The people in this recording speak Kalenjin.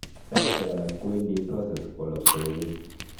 saishek akala kowendi process kowoloksei kokeny